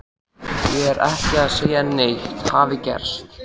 Ég er ekki að segja að neitt hafi gerst.